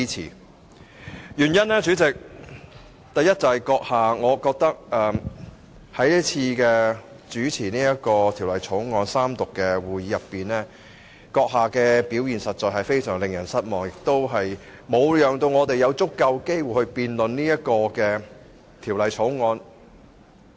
主席，原因是：第一，我認為主席你在主持今次《條例草案》三讀的會議時，表現實在令人非常失望，沒有讓議員有足夠機會辯論這項《條例草案》。